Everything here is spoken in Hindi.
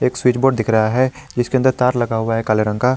एक स्विच बोर्ड दिख रहा है जिसके अन्दर तार लगा हुआ है काले रंग का।